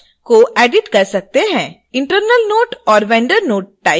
internal note और vendor note type करें यदि कुछ हो तो